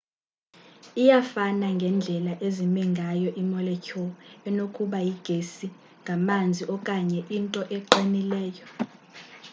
iyafana ngendlela ezime ngayo iimolecule enokuba yigesi ngamanzi okanye into eqinileyo